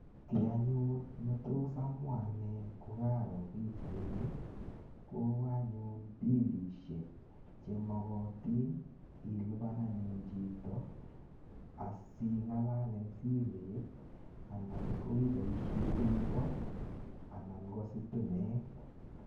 Ki anyun ne tos amwa ane ko karo pichaini ko anyun pilishek che makatin ilipan anyun chito asiing'alal eng' simet anan ko ipoishe peeko anan ko sitimet.